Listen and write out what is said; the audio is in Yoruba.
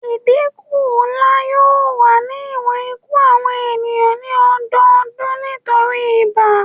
Idinku nla yoo wa ni iwọn iku awọn eniyan ni ọdọọdun nitori ibà